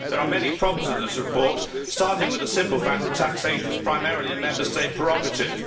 There are many problems with this report, starting with the simple fact that taxation is primarily a Member State prerogative.